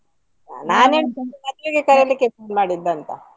ನಾನ್ ಎಣಿಸಿದ್ದು ಮದುವೆಗೆ ಕರಿಲಿಕ್ಕೆ phone ಮಾಡಿದ್ದು ಅಂತ.